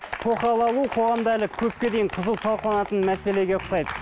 тоқал алу қоғамда әлі көпке дейін қызу талқыланатын мәселеге ұқсайды